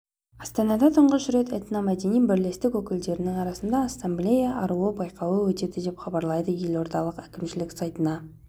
астанада тұңғыш рет этномәдени бірлестік өкілдерінің арасында ассамблея аруы байқауы өтеді деп хабарлайды елордалық әкімшілік сайтына